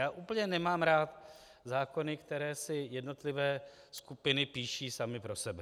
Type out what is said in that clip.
Já úplně nemám rád zákony, které si jednotlivé skupiny píší sami pro sebe.